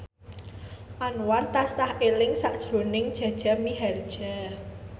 Anwar tansah eling sakjroning Jaja Mihardja